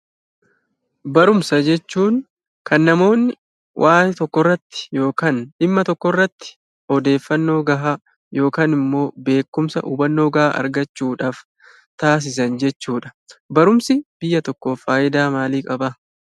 Barumsa jechuun kan namoonni waan tokko irratti yookaan dhimma tokkorratti odeeffannoo gahaa yookaan immoo beekumsa hubannoo gahaa argachuudhaaf taasisan jechuudha. Barumsi biyya tokkoof faayidaa maalii qabaa?